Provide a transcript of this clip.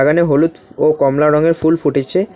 এখানে হলুত ও কমলা রঙের ফুল ফুটেছে।